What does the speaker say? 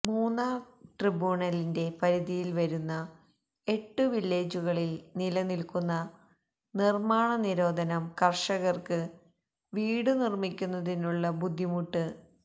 മൂന്നാര് ട്രിബൂണലിന്റെ പരിധിയില് വരുന്ന എട്ടു വില്ലേജുകളില് നില നില്ക്കുന്ന നിര്മ്മാണ നിരോധനം കര്ഷകര്ക്ക് വീടു നിര്മ്മിക്കുന്നതിനുള്ള ബുദ്ധമുട്ട്